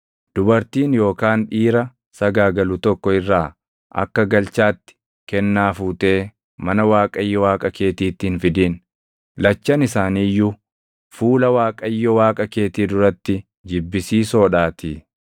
Dubartii yookaan dhiira sagaagalu tokko irraa akka galchaatti kennaa fuutee mana Waaqayyo Waaqa keetiitti hin fidin; lachan isaanii iyyuu fuula Waaqayyo Waaqa keetii duratti jibbisiisoo dhaatii.